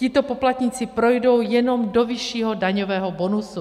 Tito poplatníci projdou jenom do vyššího daňového bonusu.